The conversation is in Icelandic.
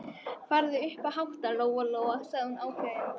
Farðu strax upp að hátta, Lóa Lóa, sagði hún ákveðin.